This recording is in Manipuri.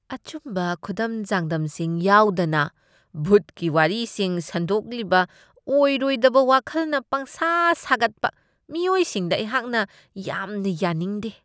ꯑꯆꯨꯝꯕ ꯈꯨꯗꯝ ꯆꯥꯡꯗꯝꯁꯤꯡ ꯌꯥꯎꯗꯅ ꯚꯨꯠꯀꯤ ꯋꯥꯔꯤꯁꯤꯡ ꯁꯟꯗꯣꯛꯂꯤꯕ ꯑꯣꯏꯔꯣꯏꯗꯕ ꯋꯥꯈꯜꯅ ꯄꯪꯁꯥ ꯁꯥꯒꯠꯄ ꯃꯤꯑꯣꯏꯁꯤꯡꯗ ꯑꯩꯍꯥꯛꯅ ꯌꯥꯝꯅ ꯌꯥꯅꯤꯡꯗꯦ ꯫